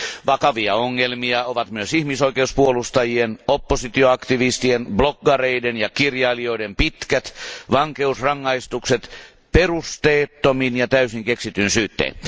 Vakavia ongelmia ovat myös ihmisoikeuspuolustajien, oppositioaktivistien, bloggareiden ja kirjailijoiden pitkät vankeusrangaistukset perusteettomin ja täysin keksityin syyttein.